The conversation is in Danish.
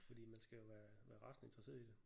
Fordi man skal jo være rasende interesseret i det